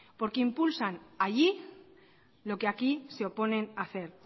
porque impulsan allí lo que aquí se oponen a hacer